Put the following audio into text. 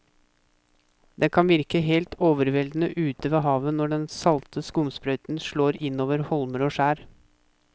Det kan virke helt overveldende ute ved havet når den salte skumsprøyten slår innover holmer og skjær.